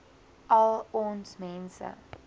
al ons mense